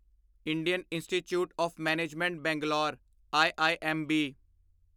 Indian institute of management Bangalore IIMB